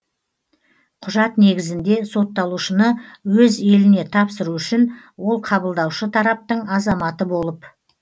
құжат негізінде сотталушыны өз еліне тапсыру үшін ол қабылдаушы тараптың азаматы болып